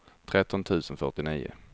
tretton tusen fyrtionio